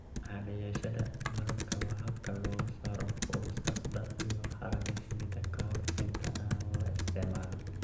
Cadayashada malabka waa habka looga saaro wasakhda iyo haraaga shinnida ka hor inta aan la isticmaalin.